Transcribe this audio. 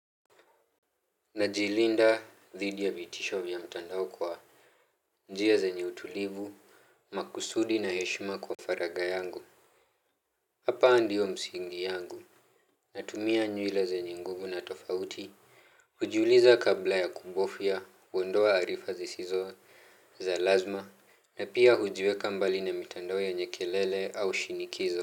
Najilinda dhidi ya vitisho vya mtandao kwa njia zenye utulivu, makusudi na heshima kwa faraga yangu. Hapa ndio msingi yangu. Natumia nyule zenye nguvu na tofauti hujiuliza kabla ya kubofya, huondoa arifa zisizo za lazma. Na pia hujiweka mbali na mtandao yenye kelele au shinikizo.